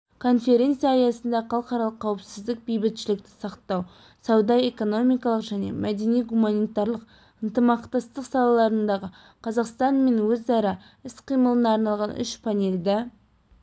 конференция аясында халықаралық қауіпсіздік бейбітшілікті сақтау сауда-экономикалық және мәдени-гуманитарлық ынтымақтастық салаларындағы қазақстан мен өзара іс-қимылына арналған үш панельді